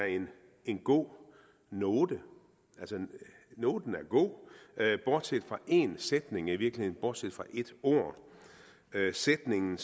en god note noten er god bortset fra en sætning i virkeligheden bortset fra ét ord sætningen